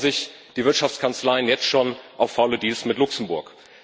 Da freuen sich die Wirtschaftskanzleien jetzt schon auf faule Deals mit Luxemburg.